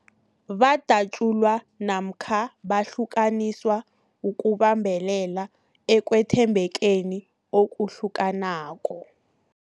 Badatjulwa namkha bahlukaniswa ukubambelela ekwethembekeni okuhlukanako.